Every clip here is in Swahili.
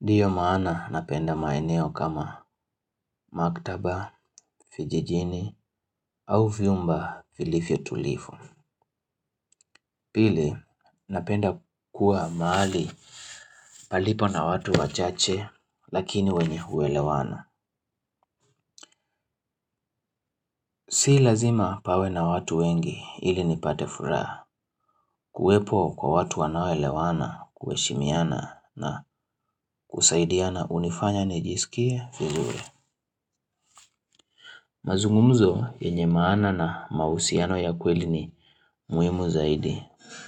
Ndiyo maana napenda maeneo kama maktaba, vijijini au viumba filifyo tulifu. Pili, napenda kuwa mahali palipo na watu wachache lakini wenye huelewana. Si lazima pawe na watu wengi ili nipate furaha kuwepo kwa watu wanaoelewana kuheshimiana na kusaidiana hunifanya nijisikie vizuri. Mazungumzo yenye maana na mahusiano ya kweli ni muhimu zaidi.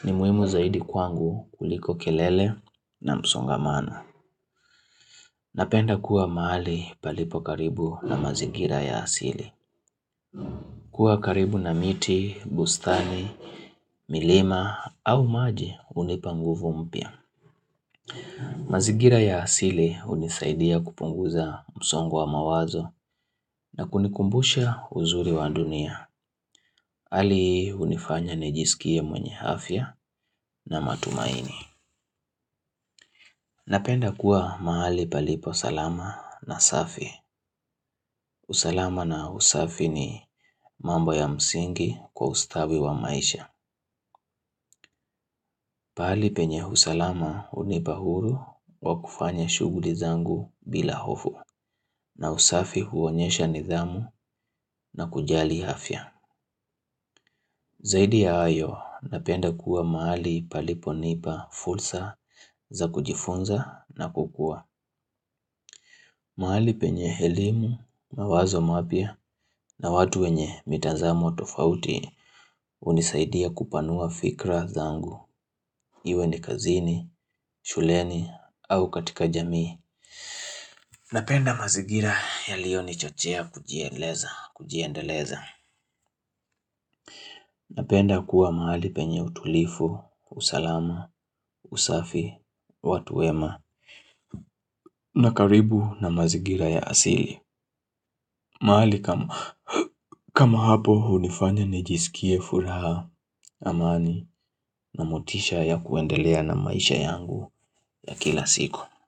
Ni muhimu zaidi kwangu kuliko kelele na msongamana. Napenda kuwa mahali palipo karibu na mazigira ya asili. Kuwa karibu na miti, bustani, milima au maji hunipa nguvu mpya. Mazigira ya asili hunisaidia kupunguza msongo wa mawazo na kunikumbusha uzuri wa dunia ali hii hunifanya nijisikie mwenye afya na matumaini. Napenda kuwa mahali palipo salama na safi. Usalama na usafi ni mambo ya msingi kwa ustawi wa maisha. Pahalipenye usalama hunipa huru wa kufanya shuguli zangu bila hofu. Na usafi huonyesha nidhamu na kujali afya. Zaidi ya hayo, napenda kuwa mahali paliponipa, fulsa za kujifunza na kukua. Mahali penye elimu, mawazo mapya na watu wenye mitazamo tofauti hunisaidia kupanua fikra zangu. Iwe ni kazini, shuleni au katika jamii. Napenda mazigira yaliyonichochea kujiendeleza. Kujiendeleza. Napenda kuwa mahali penye utulifu, usalama, usafi, watu wema, na karibu na mazigira ya asili. Mahali kama hapo hunifanya nijisikie furaha amani na motisha ya kuendelea na maisha yangu ya kila siku.